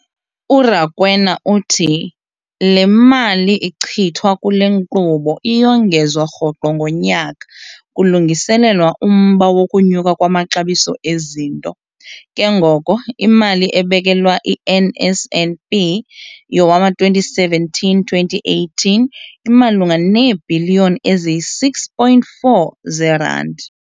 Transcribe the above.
URakwena uthi le mali ichithwa kule nkqubo iyongezwa rhoqo ngonyaka kulungiselelwa umba wokunyuka kwamaxabiso ezinto, ke ngoko imali ebekelwa i-NSNP yowama-2017-2018 imalunga neebhiliyoni eziyi-6.4 zeerandi.